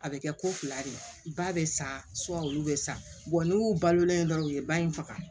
A bɛ kɛ ko fila de ye ba bɛ san olu bɛ san n'u y'u balolen ye dɔrɔn u ye ba in faga